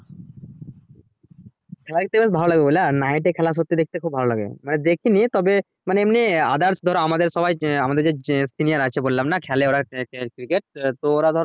হয়তো বেশ ভালোই হবে লই nift এ খেলা সত্যি দেখতে খুব ভালো লাগে মানে দেখিনি তবেমানে এমনি others ধরো আমাদের সবাই আমাদের যে seniors আছে বললাম না খেলে ওরা আঃ আঃ cricket তো ওরা ধরো